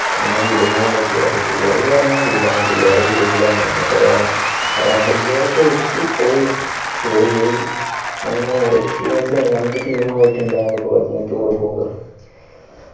ഒന്ന് വിടുമോ എന്നൊക്കെ അപേക്ഷിച്ചു ചിലർ പറഞ്ഞു വിടാം ചിലർ വിടൂല എന്നൊക്കെ പറഞ്ഞു അങ്ങനെ ഇല്ലൊരെക്കെ വെച്ചു പോയി tour പോയി അങ്ങനെ ഒരു experience ആണ് രണ്ടു team ഇണ്ടാകുമെനോക്കെ പറഞ്ഞു tour പോകുമ്പോ